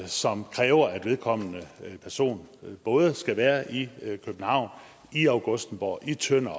som kræver at vedkommende person både skal være i københavn i augustenborg i tønder